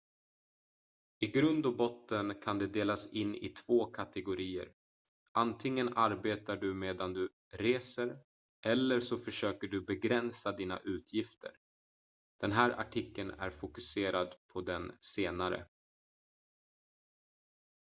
i grund och botten kan de delas in i två kategorier antingen arbetar du medan du reser eller så försöker du begränsa dina utgifter den här artikeln är fokuserad på den senare